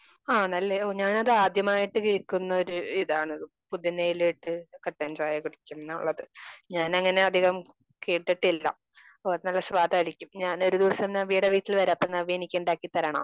ആ നല്ല ഞാനത് ആദ്യമായിട്ട് കേൾക്കുന്ന ഒരു ഇതാണ്. പുതിന ഇല ഇട്ട് കട്ടൻ ചായ കുടിക്കും എന്നുള്ളത്. ഞാൻ അങ്ങനെ അധികം കേട്ടിട്ടില്ല.നല്ല സ്വാദ് ആയിരിക്കും ഞാൻ ഒരു ദിവസം നവ്യയുടെ വീട്ടിൽ വരാം അപ്പോ നവ്യ എനിക്ക് ഉണ്ടാക്കി തരണം.